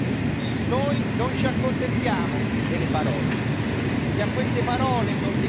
Se a queste parole non seguiranno i fatti, Lei non avrà più il nostro sostegno.